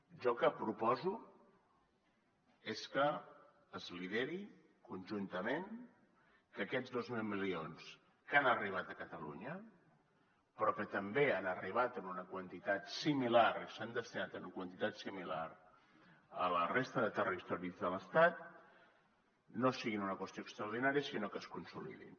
jo el que proposo és que es lideri conjuntament que aquests dos mil milions que han arribat a catalunya però que també han arribat en una quantitat similar i s’han destinat en una quantitat similar a la resta de territoris de l’estat no siguin una qüestió extraordinària sinó que es consolidin